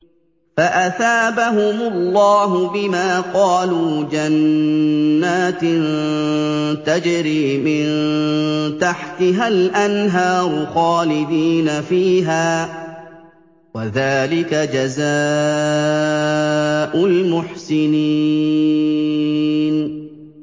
فَأَثَابَهُمُ اللَّهُ بِمَا قَالُوا جَنَّاتٍ تَجْرِي مِن تَحْتِهَا الْأَنْهَارُ خَالِدِينَ فِيهَا ۚ وَذَٰلِكَ جَزَاءُ الْمُحْسِنِينَ